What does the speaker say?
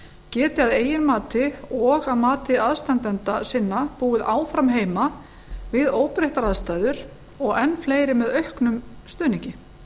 geti að eigin mati og að mati aðstandenda sinna búið áfram heima við óbreyttar aðstæður og enn fleiri með auknum stuðningi